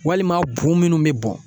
Walima bu munnu bɛ bɔ